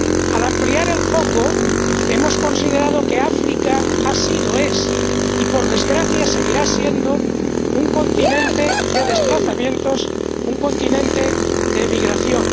Al ampliar el foco, hemos considerado que África ha sido, es y, por desgracia, seguirá siendo un continente de desplazamientos, un continente de emigración.